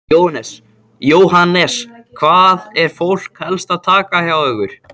Jóhannes: Hvað er fólk helst að taka hjá ykkur?